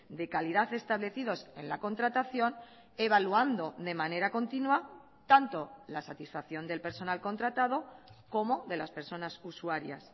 de calidad establecidos en la contratación evaluando de manera continua tanto la satisfacción del personal contratado como de las personas usuarias